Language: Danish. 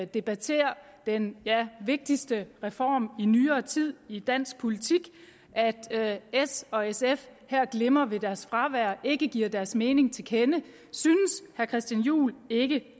debatterer den vigtigste reform i nyere tid i dansk politik altså at s og sf her glimrer ved deres fravær og ikke giver deres mening til kende synes herre christian juhl ikke